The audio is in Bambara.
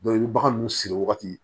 i bɛ bagan nunnu siri wagati